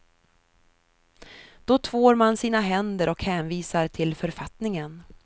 Då tvår man sina händer och hänvisar till författningen.